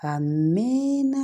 A mɛn na